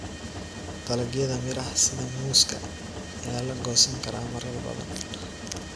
Dalagyada miraha sida muuska ayaa la goosan karaa marar badan.